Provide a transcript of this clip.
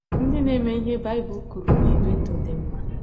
Ndị na - eme ihe Baịbụl kwuru na - ebi ndụ dị mma.